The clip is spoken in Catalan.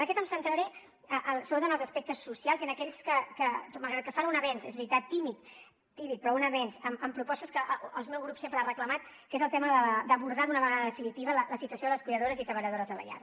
en aquest em centraré sobretot en els aspectes socials i en aquells que malgrat que fan un avenç és veritat tímid però un avenç amb propostes que el meu grup sempre ha reclamat que és el tema d’abordar d’una vegada definitiva la situació de les cuidadores i treballadores de la llar